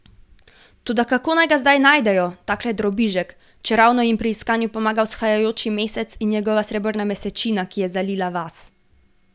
Toda kako naj ga zdaj najdejo, takle drobižek, čeravno jim pri iskanju pomaga vzhajajoči mesec in njegova srebrna mesečina, ki je zalila vas.